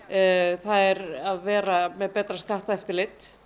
það er að vera með betra skattaeftirlit